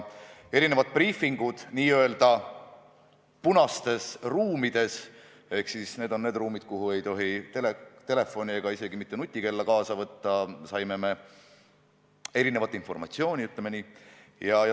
Erinevatel briifingutel n-ö punastes ruumides – nendes, kuhu ei tohi telefone ega isegi mitte nutikella kaasa võtta – saime me erinevat informatsiooni, ütleme nii.